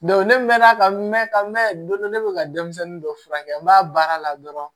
ne mɛnna ka mɛɛn ka mɛn don dɔ ne be ka denmisɛnnin dɔ furakɛ n b'a baara la dɔrɔn